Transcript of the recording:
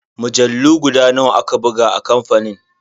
Mujallu guda nawa aka buga a kamfanin?